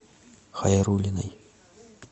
хайрулиной